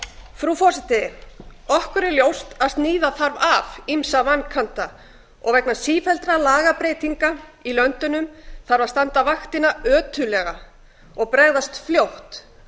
frú forseti okkur er ljóst að sníða þarf af ýmsa vankanta vegna sífelldra lagabreytinga í löndunum þarf að standa vaktina ötullega og bregðast fljótt